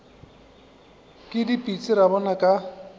ke dipitsi ra bona ka